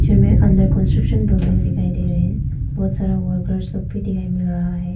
Under construction building दिखाई दे रहे हैं बहुत सारा वर्कर्स लोग भी दिखाई मिल रहा है।